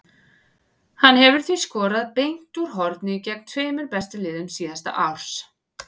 Hann hefur því skorað beint úr horni gegn tveimur bestu liðum síðasta árs.